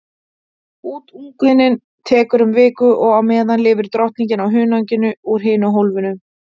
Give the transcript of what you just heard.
Útungunin tekur um viku og á meðan lifir drottningin á hunanginu úr hinu hólfinu.